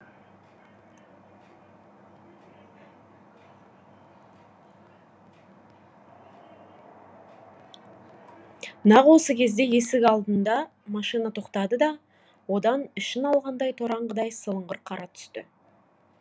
нақ осы кезде есік алдына машина тоқтады да одан ішін алған торанғыдай сылыңғыр қара түсті